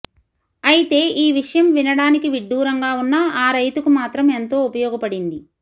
అయితే ఈ విషయం వినడానికి విడ్డూరంగా ఉన్నా ఆ రైతుకు మాత్రం ఎంతో ఉపయోగపడింది